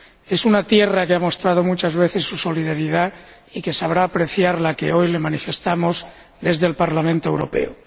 Es una tierra que ha mostrado muchas veces su solidaridad y que sabrá apreciar la que hoy le manifestamos desde el Parlamento Europeo.